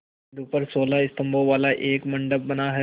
बिंदु पर सोलह स्तंभों वाला एक मंडप बना है